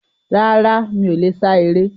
Rárá, mí o le sá eré